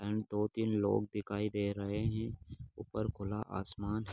दो तीन लोग दिखाई दे रहें है ऊपर खुला आसमान ।